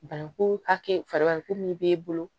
Bananku hakɛ fara min b'e bolo